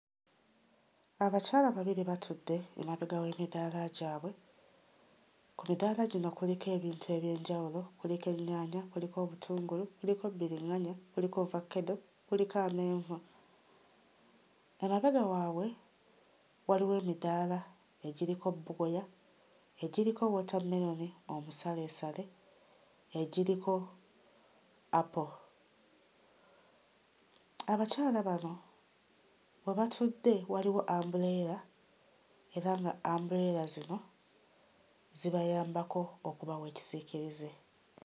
Abakyala babiri batudde emabega w'emidaala gyabwe ku midaala gino kuliko ebintu eby'enjawulo kuliko ennyaanya, kuliko obutungulu, kuliko bbiriᵑᵑanya, kuliko ovakkedo, kuliko amenvu, emabega waabwe waliwo emidaala egiriko bbogoya, egiriko wootammeroni omusaleesale, egiriko apo. Abakyala bano we batudde waliwo umbrella era nga umbrella zino zibayambako okubawa ekisiikirize.